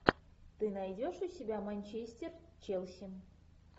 ты найдешь у себя манчестер челси